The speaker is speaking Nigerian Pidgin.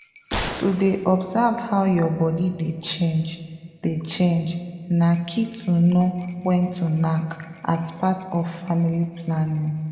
to dey observe how your body dey change dey change na key to know when to knack as part of family planning.